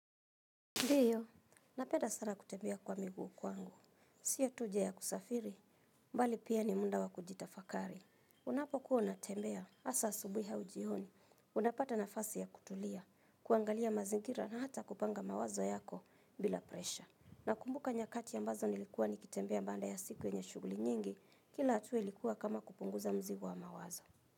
Ndiyo, napenda sana kutembea kwa miguu kwangu. Sio tu njia ya kusafiri, bali pia ni muda wa kujitafakari. Unapokuwa unatembea, hasa asubuhi au jioni, unapata nafasi ya kutulia, kuangalia mazingira na hata kupanga mawazo yako bila presha. Nakumbuka nyakati ambazo nilikuwa nikitembea baada ya siku yenye shughuli nyingi, kila hatua ilikuwa kama kupunguza mzigo wa mawazo.